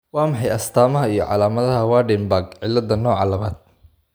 Waa maxay astamaha iyo calaamadaha Waardenburg cilada nooca labaad?